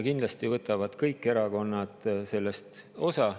Kindlasti võtavad sellest osa kõik erakonnad.